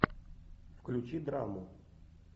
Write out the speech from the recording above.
включи драму